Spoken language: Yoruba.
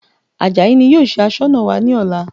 Àjàyí ni yóò ṣe Aṣọ́nà wa ní ọ̀la